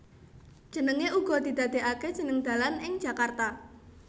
Jenenge uga didadekake jeneng dalan ing Jakarta